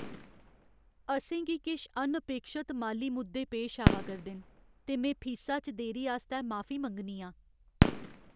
असें गी किश अनअपेक्षत माली मुद्दें पेश आवा करदे न ते में फीसा च देरी आस्तै माफी मंग्गनी आं ।